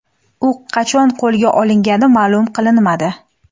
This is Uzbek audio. U qachon qo‘lga olingani ma’lum qilinmadi.